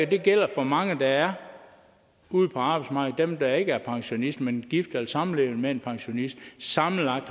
det gælder for mange der er ude på arbejdsmarkedet dem der ikke er pensionister men gift eller samlevende med en pensionist sammenlagt